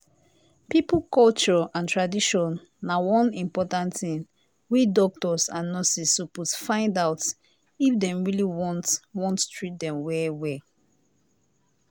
people culture and tradition na one important thing wey doctors and nurses suppose find out if them really want want treat them well well.